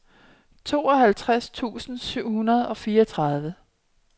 tooghalvtreds tusind syv hundrede og fireogtredive